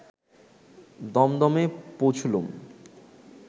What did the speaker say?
দমদমে পৌঁছুলুম